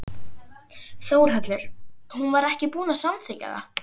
Þórhallur: Hún var ekki búin að samþykkja það?